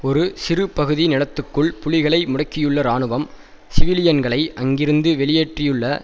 ஒரு சிறு பகுதி நிலத்துக்குள் புலிகளை முடக்கியுள்ள இராணுவம் சிவிலியன்களை அங்கிருந்து வெளியேற்றியுள்ள